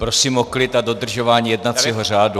Prosím o klid a dodržování jednacího řádu.